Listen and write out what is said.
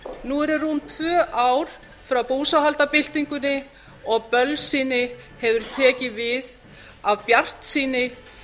nú eru rúm tvö ár frá búsáhaldabyltingunni og bölsýni hefur tekið við af bjartsýni